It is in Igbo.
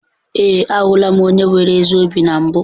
Ee, ahụla m onye nwere ezi obi na mbụ.